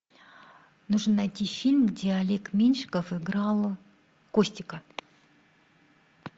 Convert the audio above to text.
нужно найти фильм где олег меньшиков играл костика